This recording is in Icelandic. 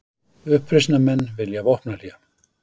Uppreisnarmenn vilja vopnahlé